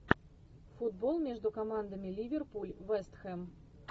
футбол между командами ливерпуль вест хэм